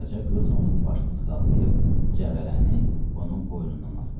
Qaraca qız onun başını sığallayıb cəvərəni onun boynundan asdı.